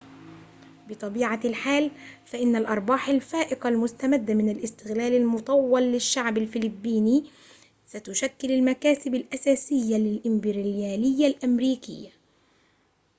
بطبيعة الحال فإن الأرباح الفائقة المستمدة من الاستغلال المطول للشعب الفلبيني ستشكل المكاسب الأساسية للإمبريالية الأمريكية